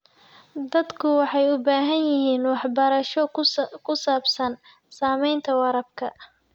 Dadku waxay u baahan yihiin waxbarasho ku saabsan saamaynta waraabka.